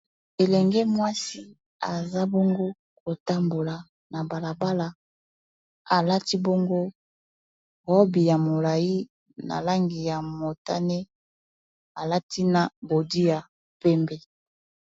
Elenge mwasi aza bongo kotambola na balabala alati bongo robi ya molai na langi ya motane alati na bodi ya pembe